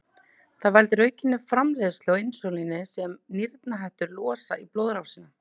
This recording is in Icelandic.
Það veldur aukinni framleiðslu á insúlíni sem nýrnahettur losa í blóðrásina.